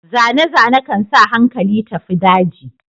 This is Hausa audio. Zane-zane kan sa hankali tafi daji.